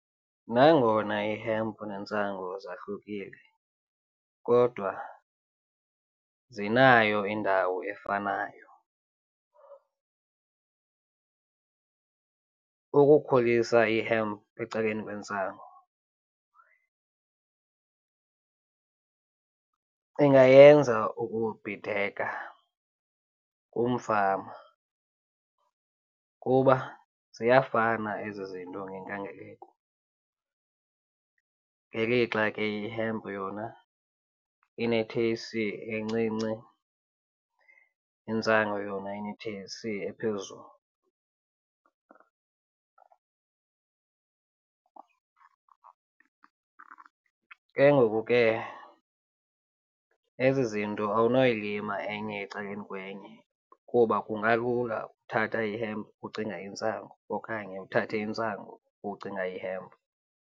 Nangona ihempu nentsangu zahlukile kodwa zinayo indawo efanayo. Ukukhulisa ihempu ecaleni kwentsangu ingayenza ukubhideka kumfama kuba ziyafana ezi zinto ngenkangeleko, ngelixa ke ihempu yona ine-T_H_C encinci, intsangu yona ine-T_H_C ephezulu. Ke ngoku ke ezi zinto awunoyilima enye ecaleni kwenye kuba kungalula uthatha ihempu ucinge yintsangu okanye uthathe intsangu ucinga yihempu.